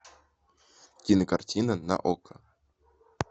кинокартина на окко